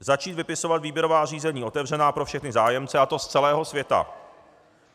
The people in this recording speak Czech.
Začít vypisovat výběrová řízení otevřená pro všechny zájemce, a to z celého světa.